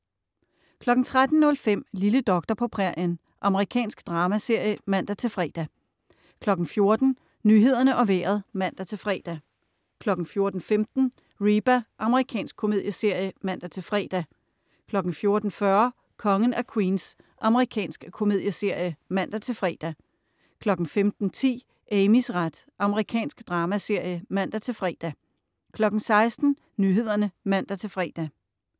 13.05 Lille doktor på prærien. Amerikansk dramaserie (man-fre) 14.00 Nyhederne og Vejret (man-fre) 14.15 Reba. Amerikansk komedieserie (man-fre) 14.40 Kongen af Queens. Amerikansk komedieserie (man-fre) 15.10 Amys ret. Amerikansk dramaserie (man-fre) 16.00 Nyhederne (man-fre)